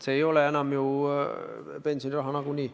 See ei ole enam pensioniraha nagunii.